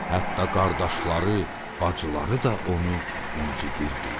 Hətta qardaşları, bacıları da onu incitirdilər.